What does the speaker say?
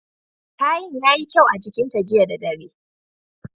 Kayan yayi kyau a jikin ta jiya da dare.